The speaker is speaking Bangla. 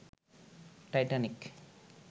টাইটানিক